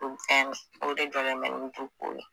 o de jɔlen bɛ ni ye.